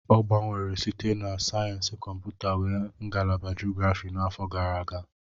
O gbanwere site na sayensị kọmputa wee ngalaba geography n'afọ gara aga.